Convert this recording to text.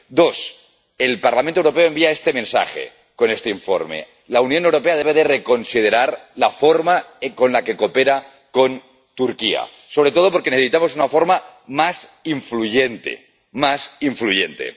dos el Parlamento Europeo envía este mensaje con este informe la Unión Europea debe de reconsiderar la forma con la que coopera con Turquía, sobre todo porque necesitamos una forma más influyente, más influyente